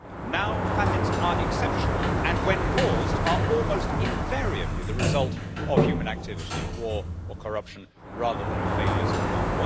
Now famines are exceptional and when caused almost invariably the result of human activity of war or corruption rather than of failures of food.